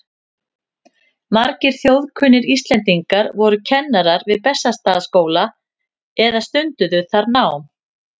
Margir þjóðkunnir Íslendingar voru kennarar við Bessastaðaskóla eða stunduðu þar nám.